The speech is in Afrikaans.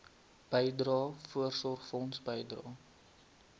bydrae voorsorgfonds bydrae